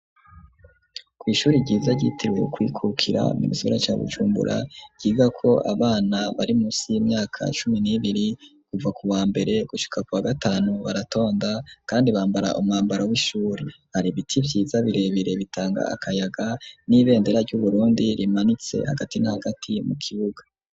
ku ishuri ryiza ryiteriwe kwikukira minisura cya gucumbura giga ko abana bari musi y'imyaka cumi nibiri kuva ku wa mbere gushika ku wa gatanu baratonda kandi bambara umwambaro w'ishuri hari biti byiza birebire bitanga akayaga n'ibendera ry'uburundi rimanitse hagati ntagati mu kibuga